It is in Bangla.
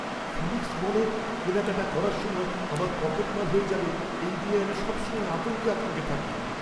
ফিনিক্স মলে কেনাকাটা করার সময় আমার পকেটমার হয়ে যাবে এই নিয়ে আমি সবসময় আতঙ্কে আতঙ্কে থাকি!